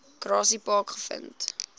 grassy park gevind